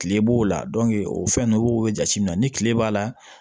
Kile b'o la o fɛn nunnu o be jate minɛ ni kile b'a la